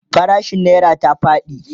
farashin naira ta faɗi